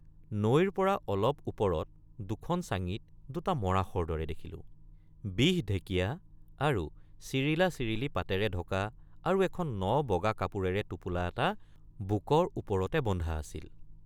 নৈৰপৰা অলপ ওপৰত দুখন চাঙিত দুট৷ মৰাশৰ দৰে দেখিলোঁ ৷ বিহঢেকীয়া আৰু চিৰিলাচিৰিলি পাতেৰে ঢকা আৰু এখন ন বগা কাপোৰেৰে টোপোলা এটা বুকৰ ওপৰতে বন্ধা আছিল ।